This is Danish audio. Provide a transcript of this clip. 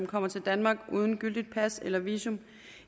kommer til danmark uden gyldigt pas eller visum